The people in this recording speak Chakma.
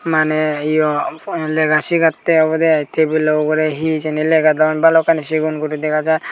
mane iyo lega sigatte obode ai table or ugure he hejani legodon balokkani sigon guri dega jar.